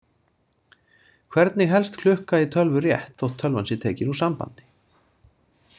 Hvernig helst klukka í tölvu rétt þótt tölvan sé tekin úr sambandi?